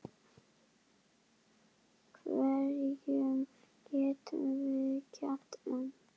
Hverjum getum við kennt um?